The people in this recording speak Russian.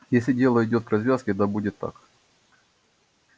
если дело идёт к развязке да будет так